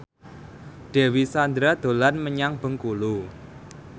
Dewi Sandra dolan menyang Bengkulu